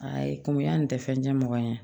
Ayi ko an tɛ fɛn tɛ mɔgɔ ɲɛ ye